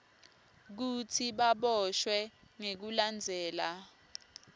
kutsi baboshwe ngekulandzela